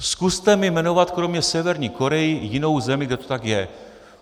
Zkuste mi jmenovat kromě Severní Korey jinou zemi, kde to tak je.